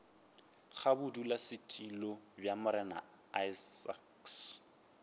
ga bodulasetulo bja morena isaacs